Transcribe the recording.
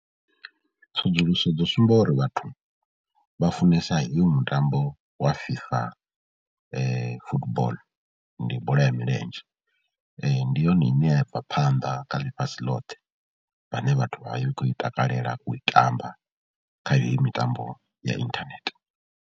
Tsedzuluso dzo sumba uri vhathu vha funesa hoyu mutambo wa FIFA football. Ndi bola ya milenzhe, ndi yone ine ya bva phanḓa kha ḽifhasi ḽothe vhane vhathu vha vha khou i takalela u i tamba kha heyi mitambo ya inthanethe.